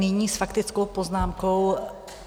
Nyní s faktickou poznámkou...